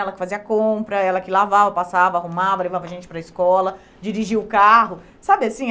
Ela que fazia a compra, ela que lavava, passava, arrumava, levava gente para a escola, dirigia o carro, sabe assim?